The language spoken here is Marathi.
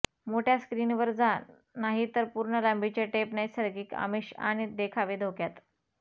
मोठ्या स्क्रीन वर जा नाही तर पूर्ण लांबीचे टेप नैसर्गिक आमिष आणि देखावे धोक्यात